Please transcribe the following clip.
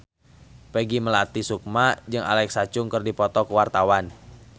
Peggy Melati Sukma jeung Alexa Chung keur dipoto ku wartawan